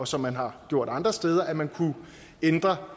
som man har gjort andre steder nemlig at man kunne ændre